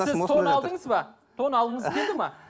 сіз тон алдыңыз ба тон алғыңыз келді ме